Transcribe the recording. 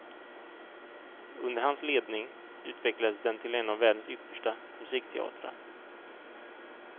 Under hans ledning utvecklades den till en av världens yppersta musikteatrar.